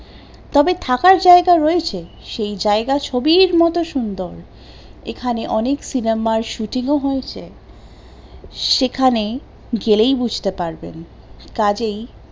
তবে থাকার জায়গা রয়েছে, সেই জায়গা ছবির মতন সুন্দর, এখানে অনেক সিনেমার shooting ও হয়েছে, সেখানে গেলেই বুঝতে পারবেন, কাজেই